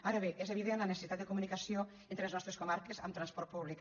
ara bé és evident la necessitat de comunicació entre les nostres comarques amb transport públic